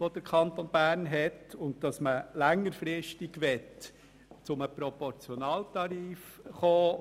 Längerfristig möchte man zu einem Proportionaltarif kommen.